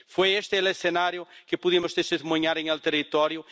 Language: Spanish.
Fue este el escenario que pudimos testimoniar en el territorio.